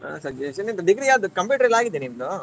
Suggestion ಇದ್ degree ಯಾಗಿ computer ಯೆಲ್ಲಾ ಆಗಿದೆಯಾ ನಿಮ್ದು?